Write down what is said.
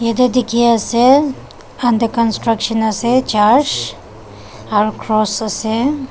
yatae dikhiase under construction ase church aro cross ase.